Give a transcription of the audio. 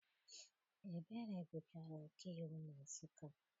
Ebere gụchara ọkaiwu na Nsụka.